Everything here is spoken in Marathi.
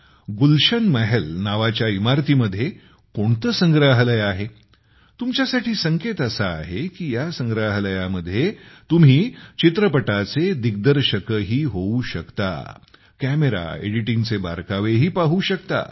गुलशन महल नावाच्या इमारतीमध्ये कोणते संग्रहालय आहे तुमच्यासाठी संकेत असा आहे की या संग्रहालयामध्ये तुम्ही चित्रपटाचे दिग्दर्शकही होऊ शकता कॅमेरा एडिटिंगचे बारकावेही पाहू शकता